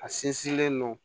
A sinsinnen no